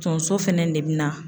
Tonso fɛnɛ de bina